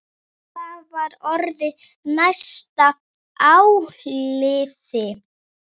Það var orðið næsta áliðið.